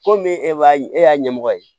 Komi e b'a e y'a ɲɛmɔgɔ ye